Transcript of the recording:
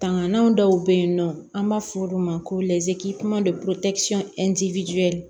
Tangananw dɔw be yen nɔ an b'a fɔ olu ma ko